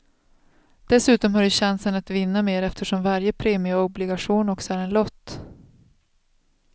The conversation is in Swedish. Dessutom har du chansen att vinna mer eftersom varje premieobligation också är en lott.